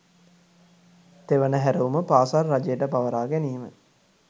තෙවන හැරවුම පාසල් රජයට පවරා ගැනීම